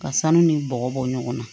Ka sanu ni bɔgɔ bɔ ɲɔgɔn na